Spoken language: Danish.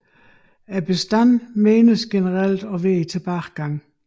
Bestanden menes generelt at være i tilbagegang